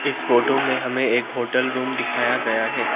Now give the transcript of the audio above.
इस फोटो में हमें एक होटल रूम दिखाया गया है।